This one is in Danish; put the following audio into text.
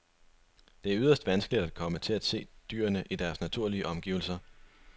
Det er yderst vanskeligt at komme til at se dyrene i deres naturlige omgivelser.